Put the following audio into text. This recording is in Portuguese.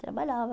Trabalhava.